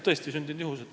Tõestisündinud lugu.